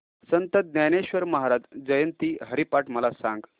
संत ज्ञानेश्वर महाराज जयंती हरिपाठ मला सांग